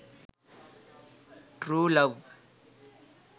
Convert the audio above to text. true love